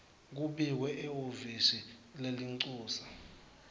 kubikwe ehhovisi lelincusa